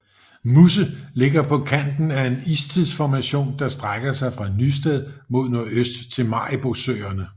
Musse ligger på kanten af en istidsformation der strækker sig fra Nysted mod nordøst til Maribosøerne